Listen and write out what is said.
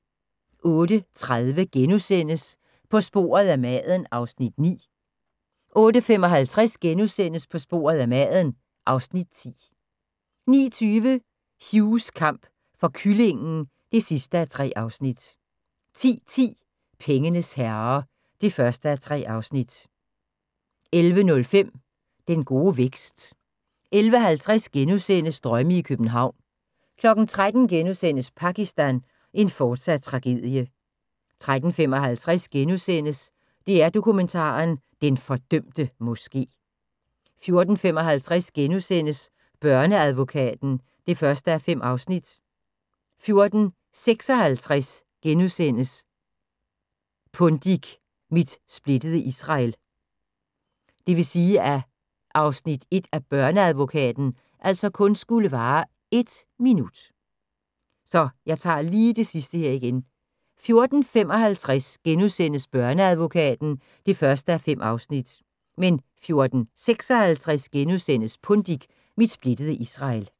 08:30: På sporet af maden (Afs. 9)* 08:55: På sporet af maden (Afs. 10)* 09:20: Hughs kamp for kyllingen (3:3) 10:10: Pengenes herrer (1:3) 11:05: Den gode vækst 11:50: Drømme i København * 13:00: Pakistan – en fortsat tragedie * 13:55: DR Dokumentar: Den fordømte Moske * 14:55: Børneadvokaten (1:5)* 14:56: Pundik – Mit splittede Israel *